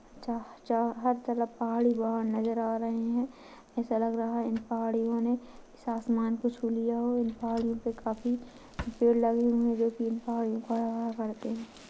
चार चा हर तरफ पहाड़ी नजर आ रहे हैं ऐसा लग रहा है इन पहाड़ियों ने इस आसमान को छू लिया हो इन पहाड़ियों पे काफी पेड़ लगे हुए जो की इन पहाड़ियों को --